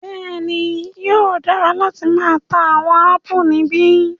Bẹẹni, yóò dara lati maa ta awọn apù nibi